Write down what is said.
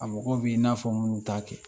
A mɔgɔw be yen i n'a fɔ minnu t'a kɛ.